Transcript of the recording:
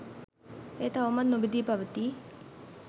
එය තවමත් නොබිඳී පවතී